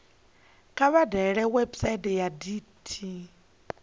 kha vha dalele website ya dti